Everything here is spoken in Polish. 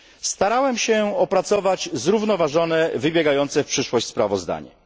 Starałem się opracować zrównoważone, wybiegające w przyszłość sprawozdanie.